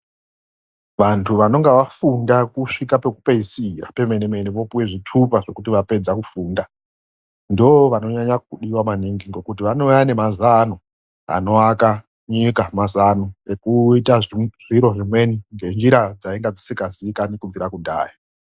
Vantu vanonge vafunda kusvika pekupedzisira pemene-mene vopuwe zvitupa zvekuti vapedza kufunda, ndovanonyanya kudiwa ngekuti vanouya nemazano anoaka nyika, mazano ekuita zviro zvimweni ngenjira dzainge dzisingaziikanwi kubvira kudhaya.